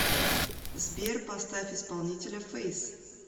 сбер поставь исполнителя фэйс